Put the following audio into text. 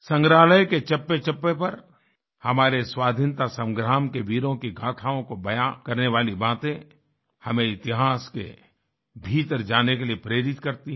संग्रहालय के चप्पेचप्पे पर हमारे स्वाधीनता संग्राम के वीरों की गाथाओं को बयां करने वाली बातें हमें इतिहास के भीतर जाने के लिए प्रेरित करती हैं